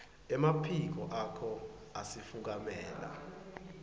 emaphiko akho asifukamela